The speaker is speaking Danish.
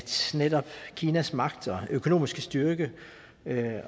netop kinas magt og økonomiske styrke